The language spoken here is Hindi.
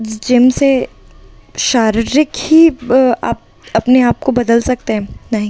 जिम से शारीरिक ही आप अपने आप को बदल सकते हैं नहीं।